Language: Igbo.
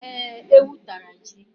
Ee, ewu tara ji.